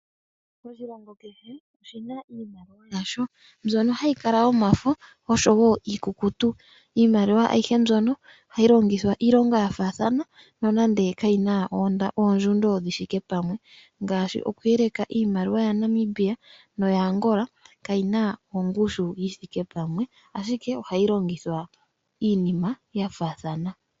Oshilongo kehe oshina iimaliwa yasho, mbyono hayikala iikukutu osho wo yomafo iimaliwa ayihe mbyono ohayi longithwa iilonga yafathana nonande kayina ondjundo shithike pamwe ngashi okwelela iimaliwa ya Namibia noyAngola kayina ongushu yithike pamwe ashike ohayi longithwa iinima yafathana.